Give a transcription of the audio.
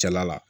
Cɛla la